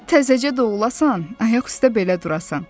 Təzəcə doğulasan, ayaq üstə belə durasan.